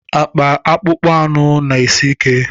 Akpa akpụkpọ anụ na-esi ike.